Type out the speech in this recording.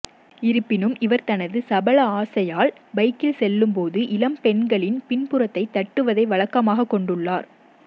இருப்பினும் இவர் தனது சபல ஆசையால் பைக்கில் செல்லும் போது இளம் பெண்களின் பின்புறத்தை தட்டுவதை வழக்கமாகக் கொண்டுள்ளார்